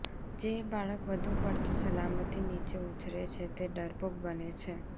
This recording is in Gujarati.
જે બાળક વધુ પડતી સલામતી નીચે ઊછરે છે તે ડરપોક બને છે